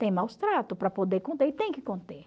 Tem maus-tratos para poder conter e tem que conter.